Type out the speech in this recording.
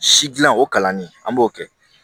Si gilan o kalanni an b'o kɛ